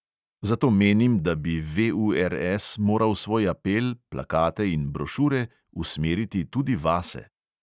Zato menim, da bi VURS moral svoj apel, plakate in brošure usmeriti tudi vase.